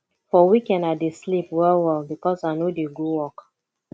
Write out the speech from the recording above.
for weekend i dey sleep wellwell because i no dey go work